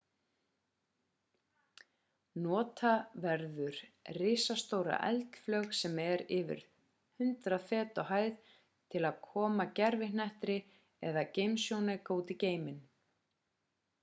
nota verður risastóra eldflaug sem er yfir 100 fet á hæð til að koma gervihnetti eða geimsjónauka út í geiminn